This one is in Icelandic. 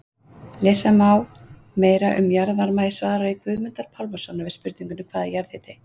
Lesa má meira um jarðvarma í svari Guðmundar Pálmasonar við spurningunni Hvað er jarðhiti?